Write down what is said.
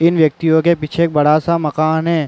इन व्यक्तिओं के पीछे एक बड़ा सा मकान है।